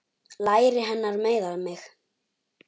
Læri hennar meiða mig.